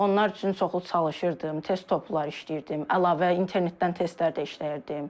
Onlar üçün çoxlu çalışırdım, test toplar işləyirdim, əlavə internetdən testlər də işləyirdim.